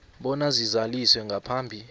bona zizaliswe ngaphambi